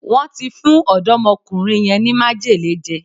Wón ti fún ọ̀dọ́mọkùnrin yẹn ní májèlé jẹ